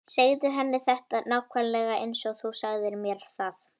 Segðu henni þetta nákvæmlega eins og þú sagðir mér það.